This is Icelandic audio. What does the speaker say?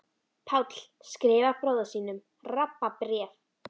Páll skrifar bróður sínum Rabba bréf.